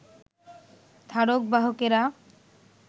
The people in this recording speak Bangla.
ধারক-বাহকেরা